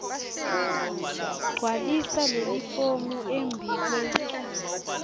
gcwalisa lelifomu embikwe